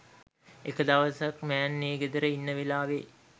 එක දවසක් මෑන් ඒ ගෙදර ඉන්න වෙලාවෙ